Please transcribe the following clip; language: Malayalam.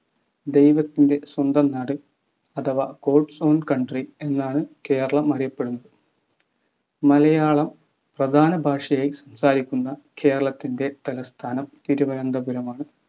ദൈവത്തിന്റെ സ്വന്തം നാട് അഥവാ Gods own Country എന്നാണ് കേരളം അറിയപ്പെടുന്നത് മലയാളം പ്രധാന ഭാഷയായി സംസാരിക്കുന്ന കേരളത്തിന്റെ തലസ്ഥാനം തിരുവനന്തപുരമാണ്‌